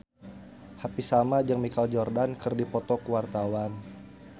Happy Salma jeung Michael Jordan keur dipoto ku wartawan